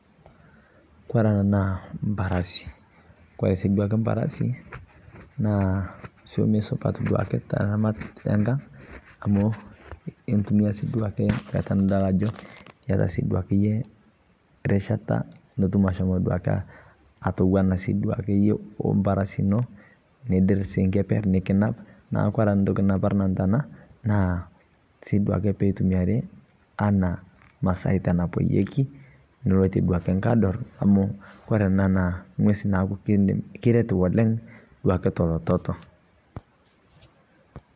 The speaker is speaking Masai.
Kore ena naa mbarasi. Kore si duake mbarasi naa soimee supaat duake te ramaat e nkaang amu itumia sii duake nkaata nidol ajo eita sii duake enye rishaata nituum ashomo duake atowuana sii duake enye ombaarasi enoo nidiir kepeer nikinaap. Naaku kore ntoki naparuu nanu tana naa sii duake pee itumiari ana masaita naiponyeki niloite duake nkadoor amu kore ena na nkuewesi nidiim nikireet duake oleng te to lototo.